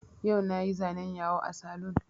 Yau na yi zanen yawo a saloon